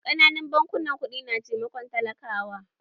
Ƙananan bankunan ƙudi na taimakon talakawa.